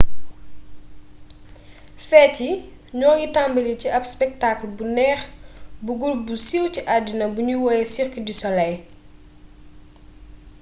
feet yi ñoo ngi tambali ci ab spektaakal bu neex bu gurup bu siiw ci addina bi ñuy woowee cirque du soleil